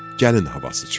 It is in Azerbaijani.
Gəlin havası çaldı.